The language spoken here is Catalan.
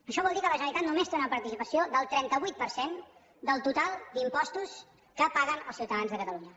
això vol dir que la generalitat només té una participació del trenta vuit per cent del total d’impostos que paguen els ciutadans de catalunya